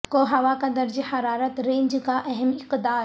کو ہوا کا درجہ حرارت رینج کے اہم اقدار